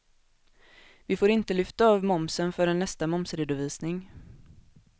Vi får inte lyfta av momsen förrän nästa momsredovisning.